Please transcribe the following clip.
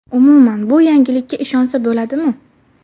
umuman, bu yangilikka ishonsa bo‘ladimi?